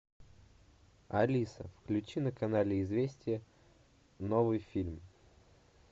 алиса включи на канале известия новый фильм